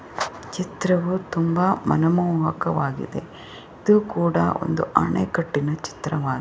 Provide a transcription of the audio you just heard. ಚಿತವು ತುಂಬ ಮನಮೋಹಕವಾಗಿದೆ ಇದು ಕೂಡ ಒಂದು ಅಣೆಕಟ್ಟಿನ ಚಿತ್ರವಾಹಿದೆ.